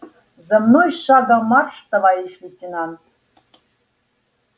за мной шагом марш товарищ лейтенант